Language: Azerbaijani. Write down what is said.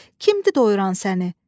Kimdir doyuran səni?